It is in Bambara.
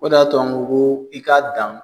O de y'a to an ko ko k'i k'a dan.